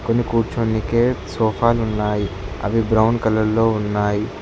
కింద కూర్చొనికి సోఫాలు ఉన్నాయి అవి బ్రౌన్ కలర్ లో ఉన్నాయి.